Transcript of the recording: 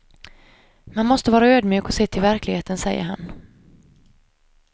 Man måste vara ödmjuk och se till verkligheten, säger han.